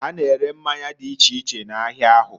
Ha na-ere mmanya di iche iche n'ahia ahu.